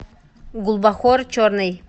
гулбахор черный